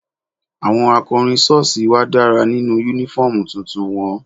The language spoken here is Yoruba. Àwọn akọrin sọ́ọ̀sì wa dára nínú uniform tuntun wọn.